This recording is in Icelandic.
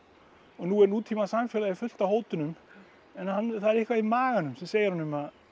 nú er nútímasamfélagið fullt af hótunum en það er eitthvað í maganum sem segir honum